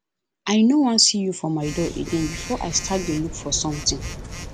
i no wan see you for my door again before i start to dey look for something